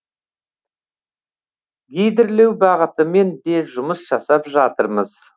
гидрлеу бағытымен де жұмыс жасап жатырмыз